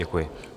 Děkuji.